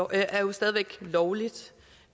er jo stadig væk lovligt